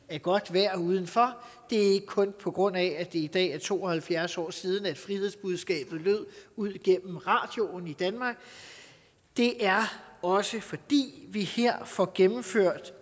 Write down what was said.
er godt vejr udenfor det er ikke kun på grund af at det i dag er to og halvfjerds år siden at frihedsbudskabet lød ud igennem radioen i danmark det er også fordi vi her får gennemført